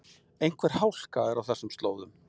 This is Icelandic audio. Einhver hálka er á þessum slóðum